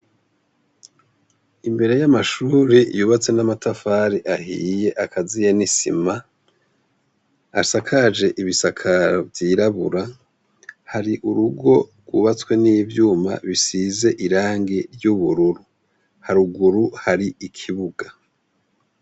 Imbere y’amashure yubatse n’amatafari ahiye akaziye n’isima, asakaje ibisakaro vy’irabura, hari urugo rwubatswe n’ivyuma bisize irangi ry’ubururu. Haruguru hari ikibuga.